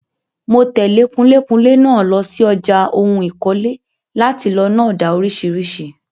Mo tẹ̀lé kunlékunlé náà lọ sí ọjà ohun ìkọ́lé láti lọ ná ọ̀dà oríṣiríṣi.